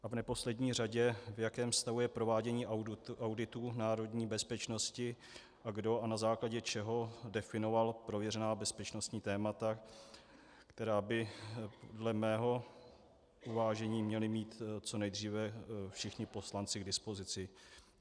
A v neposlední řadě, v jakém stavu je provádění auditu národní bezpečnosti a kdo a na základě čeho definoval prověřená bezpečnostní témata, která by, dle mého uvážení, měli mít co nejdříve všichni poslanci k dispozici?